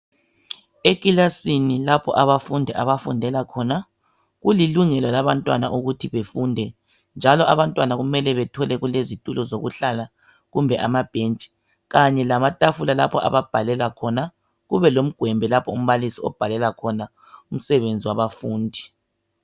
Ekilasini lapho abafundi abafundela khona kulilungelo labantwana ukuthi befunde njalo abantwana kumele bethole kulezitulo zokuhlala kumbe amabhentshi kanye lamatafula lapho ababhalela khona kube lomgwembe lapho umbalisi obhalela khona umsebenzi wabafundi.